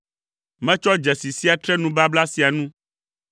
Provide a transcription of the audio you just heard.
Metsɔ dzesi sia tre nubabla sia nu: